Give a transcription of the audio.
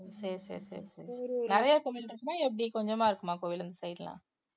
சரி சரி சரி சரி நிறைய கோவிலு இருக்குமா எப்படி கொஞ்சமா இருக்குமா கோயில் இந்த side எல்லாம்